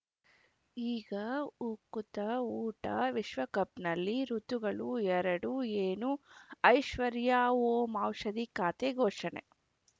ಈಗ ಉಕುತ ಊಟ ವಿಶ್ವಕಪ್‌ನಲ್ಲಿ ಋತುಗಳು ಎರಡು ಏನು ಐಶ್ವರ್ಯಾ ಓಂ ಔಷಧಿ ಖಾತೆ ಘೋಷಣೆ